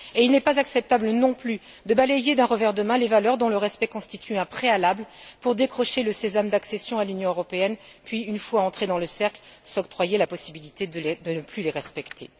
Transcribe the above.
Il n'est pas acceptable, non plus, de balayer d'un revers de main les valeurs dont le respect constitue un préalable pour décrocher le sésame de l'adhésion à l'Union européenne, puis, une fois entré dans le cercle, de s'octroyer la possibilité de ne plus les respecter.